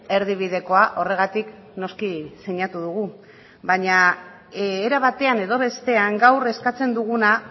erdibidekoa horregatik noski sinatu dugu baina era batean edo bestean gaur eskatzen duguna